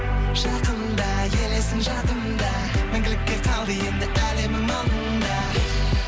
жақында елесің жанымда мәңгілікке қалды енді әлемнің алдында